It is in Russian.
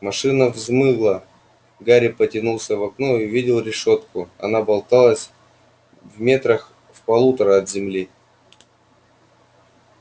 машина взмыла гарри выглянул в окно и увидел решётку она болталась метрах в полутора от земли